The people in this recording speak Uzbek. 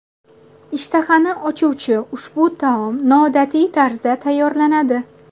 Ishtahani ochuvchi ushbu taom noodatiy tarzda tayyorlanadi.